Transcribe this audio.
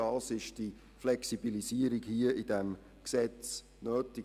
Dafür ist eine Flexibilisierung in diesem Gesetz nötig.